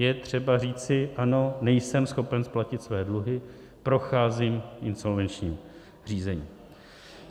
Je třeba říci ano, nejsem schopen splatit své dluhy, procházím insolvenčním řízením.